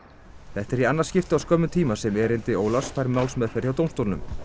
þetta er annað skiptið á skömmum tíma sem erindi Ólafs fær málsmeðferð hjá dómstólnum